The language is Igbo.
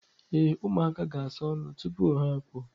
Ee, ụmụaka ga-asa ọnụ tupu ha apụọ.